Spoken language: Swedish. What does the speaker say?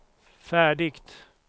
färdigt